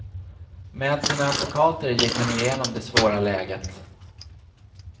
Med sina advokater gick han igenom det svåra läget.